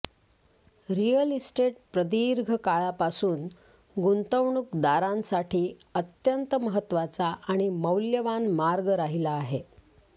real estate प्रदीर्घ काळापासून गुंतवणूकदारांसाठी अत्यंत महत्त्वाचा आणि मौल्यवान मार्ग राहिला आहे